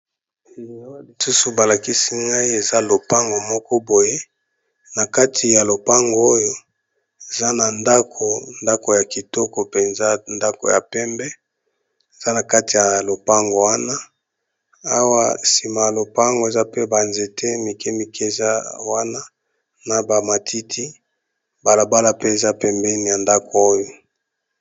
Lisusu balakisi ngai eza lopango moko boye nakati ya lopango oyo eza na ndako ya kitoko penza ya pembe eza nakati ya lopango wana Awa sima ya lopango namoni ba nzete mikemike na ba matiti pe na balabala eza pembeni ya ndako oyo.